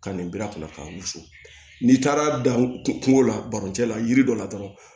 Ka nin biri a kunna k'a wusu n'i taara dan kungo la baroncɛ la yiri dɔ la dɔrɔn